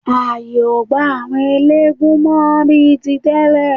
Ààyè ò gba àwọn eléégún mọ́ bí i tí tẹ́lẹ̀.